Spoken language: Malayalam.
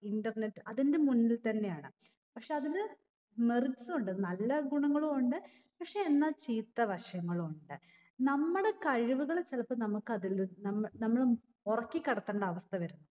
internet അതിന്റെ മുന്നിൽ തന്നെയാണ് പക്ഷെ അതിന് merits ഉണ്ട് നല്ല ഗുണങ്ങളു ഉണ്ട് പക്ഷെ എന്നാ ചീത്ത വശങ്ങളു ഉണ്ട് നമ്മടെ കഴിവ്‌കൾ ചിലപ്പോ നമ്മക്ക് അതിൽനി നമ്മ നമ്മള് ഉറക്കി കിടത്തേണ്ട അവസ്ഥ വരും